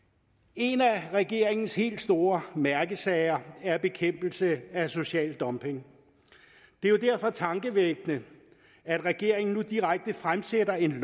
en af regeringens helt store mærkesager er bekæmpelse af social dumping det er jo derfor tankevækkende at regeringen nu direkte fremsætter et